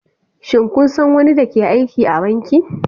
Shin kun san wani da ke aiki a banki?